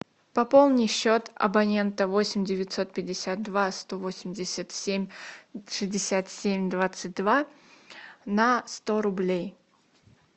пополни счет абонента восемь девятьсот пятьдесят два сто восемьдесят семь шестьдесят семь двадцать два на сто рублей